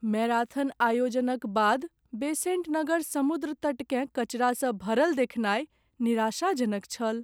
Marathon आयोजनक बाद बेसेंट नगर समुद्र तट केँ कचरा सँ भरल देखनाइ निराशाजनक छल।